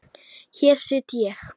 Hér sit ég.